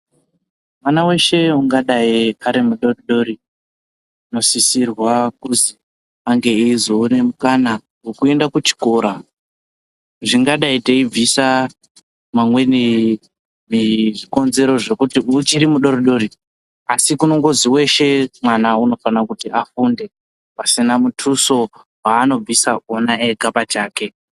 Mwana weshe angadai ari mudodori anosisirwa kuti ange eizowana mukana wekuenda kuchikora zvingadai teibvisa mamweni zvikonzero zvekunzi uchiri mudodori asi weshe mwana unofana kuti afunde pasina mutuso waanobvisa ega pachake.